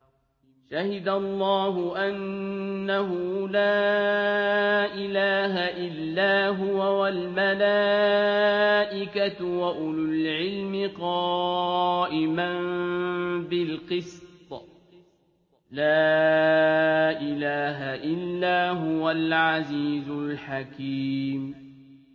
شَهِدَ اللَّهُ أَنَّهُ لَا إِلَٰهَ إِلَّا هُوَ وَالْمَلَائِكَةُ وَأُولُو الْعِلْمِ قَائِمًا بِالْقِسْطِ ۚ لَا إِلَٰهَ إِلَّا هُوَ الْعَزِيزُ الْحَكِيمُ